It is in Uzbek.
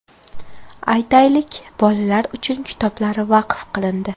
Aytaylik, bolalar uchun kitoblar vaqf qilindi.